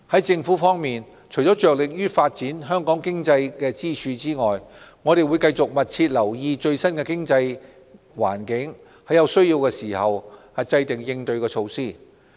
政府除了着力發展香港經濟支柱外，亦會繼續密切留意最新經濟環境，在有需要時制訂應對措施。